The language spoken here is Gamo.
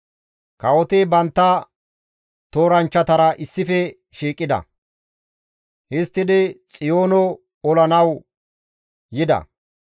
Kawoti bantta tooranchchatara issife shiiqida; histtidi Xiyoono olanawu yida.